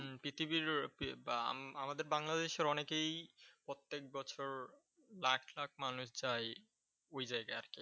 পৃথিবীর বা আমাদের বাংলাদেশের অনেকেই প্রত্যেক বছর লাখ লাখ মানুষ যায় ওই জায়গায় আরকি।